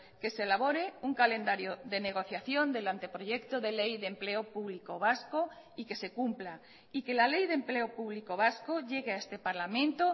que se elabore un calendario de negociación del anteproyecto de ley de empleo público vasco y que se cumpla y que la ley de empleo público vasco llegue a este parlamento